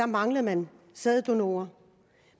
manglede man sæddonorer